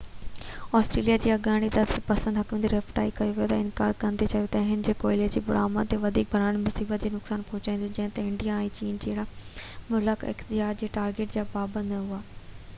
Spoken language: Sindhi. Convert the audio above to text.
آسٽريليا جي اڳوڻي اعتدال پسند حڪومت ريٽيفائي ڪيوٽو کي انڪار ڪندي چيو ته اهو ڪوئلي جي برآمد تي وڌيڪ ڀاڙڻ سان معيشت کي نقصان پهچائيندو جڏهن ته انڊيا ۽ چين جهڙا ملڪ اخراج جي ٽارگيٽ جا پابند نه هئا